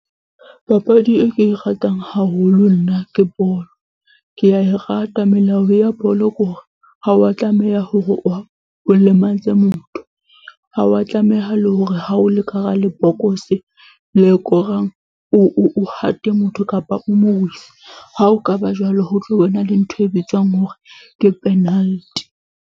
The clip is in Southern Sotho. Papadi e ke e ratang haholo nna ke bolo. Ke a e rata, melao ya bolo ke hore ha wa tlameha hore o o lematse motho. Ha wa tlameha le hore ha o le ka hara lebokose le korang, o o hate motho kapa o ha o ka ba jwalo, ho tlo bo na le ntho e bitswang hore ke penalty.